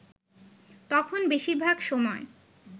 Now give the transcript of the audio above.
তখন বেশির ভাগ সময়